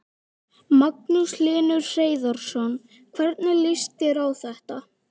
Magnús Hlynur Hreiðarsson: Hvernig líst þér á þetta?